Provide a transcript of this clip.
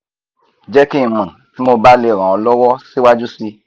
je ki n mo ti mo ba le ran o lowo siwaju si